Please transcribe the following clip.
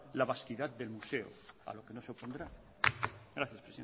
la vasquidad del museo a lo que no se opondrá gracias